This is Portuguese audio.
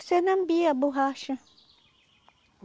O cernambi, a borracha.